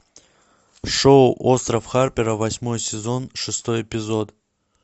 шоу остров харпера восьмой сезон шестой эпизод